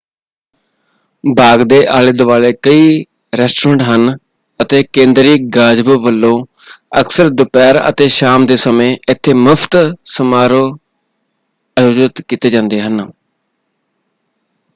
ਬਾਗ ਦੇ ਆਲੇ-ਦੁਆਲੇ ਕਈ ਰੈਸਟੋਰੈਂਟ ਹਨ ਅਤੇ ਕੇਂਦਰੀ ਗਾਜ਼ਬੋ ਵੱਲੋਂ ਅਕਸਰ ਦੁਪਹਿਰ ਅਤੇ ਸ਼ਾਮ ਦੇ ਸਮੇਂ ਇੱਥੇ ਮੁਫਤ ਸਮਾਰੋਹ ਆਯੋਜਿਤ ਕੀਤੇ ਜਾਂਦੇ ਹਨ।